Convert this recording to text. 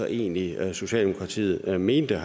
egentlig var socialdemokratiet mente